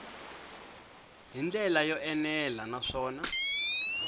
hi ndlela yo enela naswona